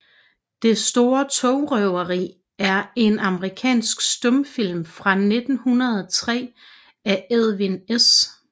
Det store togrøveri er en amerikansk stumfilm fra 1903 af Edwin S